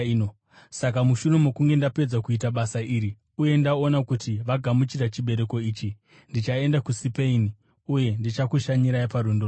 Saka mushure mokunge ndapedza kuita basa iri uye ndaona kuti vagamuchira chibereko ichi, ndichaenda kuSipeini uye ndichakushanyirai parwendo rwangu.